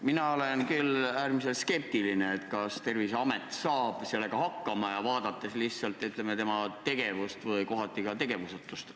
Mina olen küll äärmiselt skeptiline, kas Terviseamet saab sellega hakkama, vaadates tema senist tegevust ja kohati ka tegevusetust.